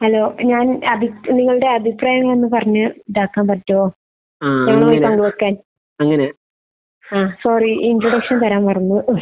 Hello. ഞാൻ അഭി നിങ്ങളുടെ അഭിപ്രായം ഒന്ന് പറഞ്ഞ് ഇതാക്കാൻ പറ്റുമോ? ഞങ്ങളുമായി പങ്കുവെയ്ക്കാൻ. ആഹ്. സോറി. ഇൻട്രൊഡക്ഷൻ തരാൻ മറന്നു.